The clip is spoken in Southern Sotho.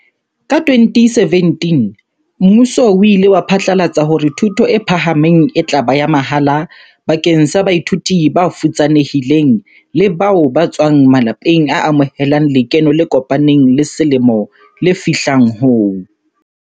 Ka 2017 mmuso o ile wa phatlalatsa hore thuto e phahameng e tla ba ya mahala bakeng sa baithuti ba futsane hileng le bao ba tswang ma lapeng a amohelang lekeno le kopaneng la selemo le fihlang ho